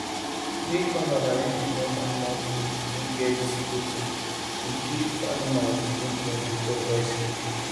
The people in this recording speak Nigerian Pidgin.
make farmers arrange enough animal food wey get protein to give animals nutrient before dry season